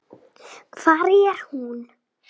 Hver var hún?